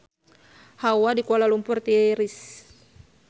Hawa di Kuala Lumpur tiris